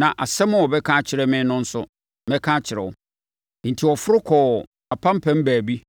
na asɛm a ɔbɛka akyerɛ me no nso, mɛka akyerɛ wo.” Enti, ɔforo kɔɔ apampam baabi.